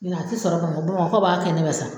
Min na a tɛ sɔrɔ ka na bamakɔkaw b'a kɛnɛ bɛɛ san.